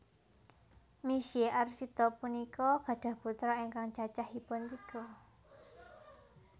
Misye Arsita punika gadhah putra ingkang cacahipun tiga